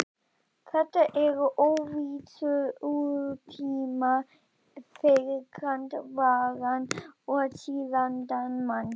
Þetta eru óvissutímar fyrir grandvaran og siðavandan mann.